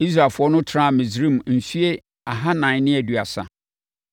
Israelfoɔ no tenaa Misraim mfeɛ ahanan ne aduasa.